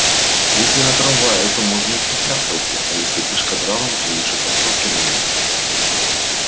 если на трамвае то можно и в туфлях пойти а если пешкодралом тогда лучше кроссовки надеть